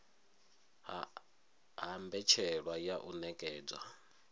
ha mbetshelwa ya u nekedzwa